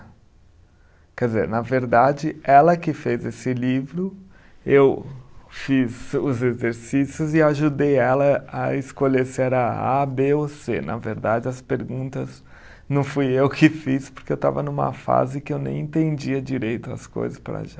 Quer dizer, na verdade, ela que fez esse livro, eu fiz os exercícios e ajudei ela a escolher se era A, Bê ou Cê. Na verdade, as perguntas não fui eu que fiz, porque eu estava numa fase que eu nem entendia direito as coisas para já.